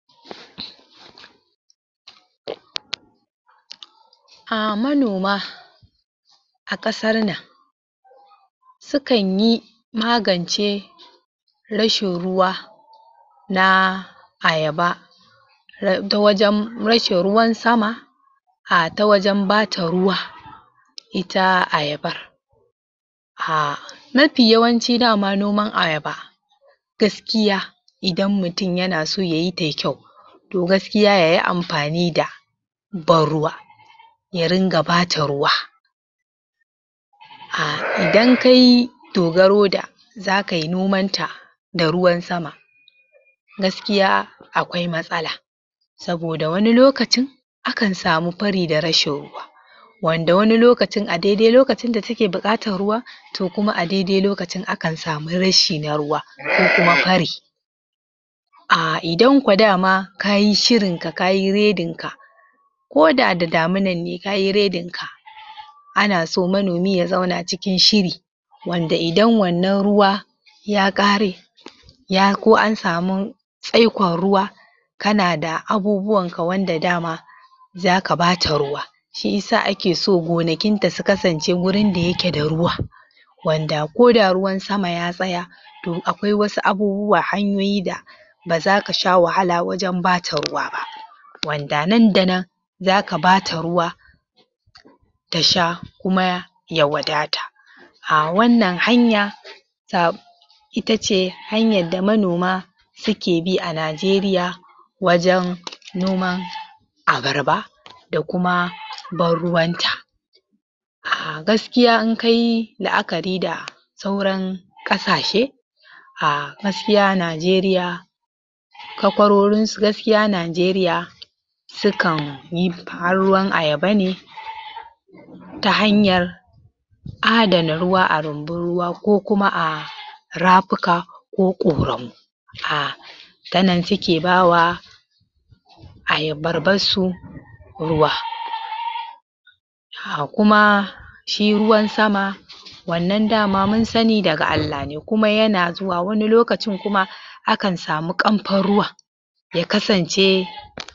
A manoma a ƙasar nan sukan yi magance rashin ruwa na ayaba ta wajen rashin ruwan sama a ta wajen ba ta ruwa ita ayabar aaa mafi yawanci dama noman ayaba gaskiya idan mutum yana so yayi ta yi kyau to gaskiya ya yi amfani da banruwa ya ringa ba ta ruwa dan kai dogaro da zaka yi noman ta da ruwan sama gaskiya akwai matsala saboda wani lokacin akan samu fari da rashin ruwa wanda wani lokacin a daidai lokacin da take buƙatar ruwa to kuma a daidai lokacin akan samu rashi na ruwa ko kuma fari a idan kwa dama ka yi shirinka ka yi redinka ko da da daminan ne ka yi redinka ana so manomi ya zauna cikin shiri wanda idan wannan ruwa ya ƙare ya ko an samu tsaikon ruwa kana da abubuwanka wanda dama zaka ba ta ruwa shi yasa ake so gonakin ta su kasance gurin da yake da ruwa wanda ko da ruwan sama ya tsaya to akwai wasu abubuwa hanyoyi da ba zaka sha wahala wajen ba ta ruwa ba wanda nan da nan zaka ba ta ruwa ta sha kuma ya wadata a wannan hanya ita ce hanyar da manoma suke bi a Najeriya wajen noman ayaba da kuma ban ruwanta a gaskiya in ka yi la'akari da sauran ƙasashe a gaskiya Najeriya takwarorinsu gaskiya Najeriya sukan yi ban ruwan ayaba ne ta hanyar adana ruwa a rumbun ruwa ko kuma a rafuka ko ƙoramu a ta nan suke ba wa ayabarsu ruwa a kuma shi ruwan sama wannan dama mun sani daga Allah ne kuma yana zuwa wani lokacin kuma akan samu ƙamfan ruwan ya kasance